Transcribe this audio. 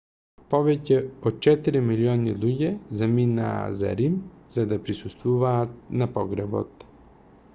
повеќе од четири милиони луѓе заминаа за рим за да присуствуваат на погребот